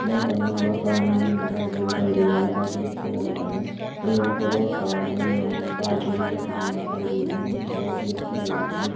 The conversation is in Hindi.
यहाँ पर हमे बहुत सारा मेला लगा हुआ दिखाई दे रहा है काफी अच्छा लग रहा है और यहाँ पे बहोत सा सामने बाइक भी रखी हुई दिखाई दे रही है जो की बहोत अच्छी लग रही है।